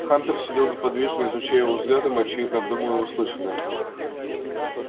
хантер сидел неподвижно изучая его взглядом и очевидно обдумывая услышанное